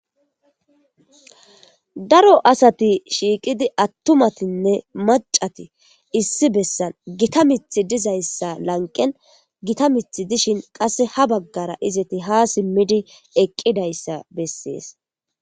Daro asati shiqiddi atumattinne macati issi bessani Gita miththi dizayissa laniqenn Gita miththi dishshin qase haa bagara izeti haa simiddi eqidayissa besses .